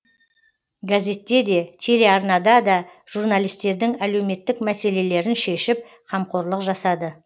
газетте де телеарнада да журналистердің әлеуметтік мәселелерін шешіп қамқорлық жасады